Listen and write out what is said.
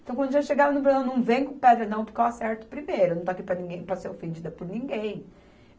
Então, quando já chegava, não vem com pedra não, porque eu acerto primeiro, não estou aqui para ninguém, para ser ofendida por ninguém.